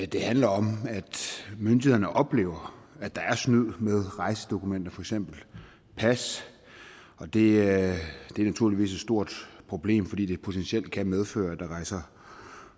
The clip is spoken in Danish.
det handler om at myndighederne oplever at der er snyd med rejsedokumenter for eksempel pas det er naturligvis et stort problem fordi det potentielt kan medføre at der rejser